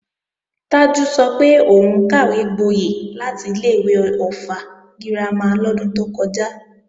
Tájù sọ pé òun kàwégboyẹ̀ láti ilé-ìwé Ọ̀ffà girama lọ́dún tó kọjá